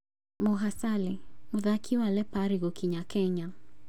Moha Sale: Mũthaki wa Lapare gũkinya Kenya